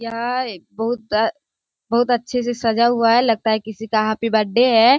यह एक बहुत अ बहुत अच्छे से सजा हुआ हैं लगता हैं किसी का हैप्पी बर्थडे है।